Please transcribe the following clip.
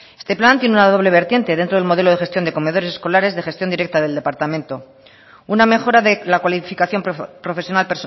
este plan tiene una doble vertiente dentro del modelo de gestión de comedores escolares de gestión directa del departamento una mejora de la cualificación profesional